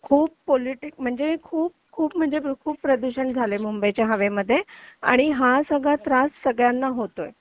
खूप पॉलिटिक म्हणजे खूप खूप म्हणजे खूप प्रदूषण झालंय मुंबईच्या हवेमध्ये आणि हा सगळा त्रास सगळ्यांना होतोय